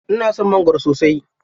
Ina son mangwaro sosai.